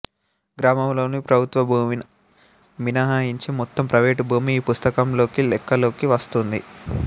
గ్రామంలోని ప్రభుత్వభూమిని మినహాయించి మొత్తం ప్రైవేటు భూమి ఈ పుస్తంలోకి లెక్కలోకి వస్తుంది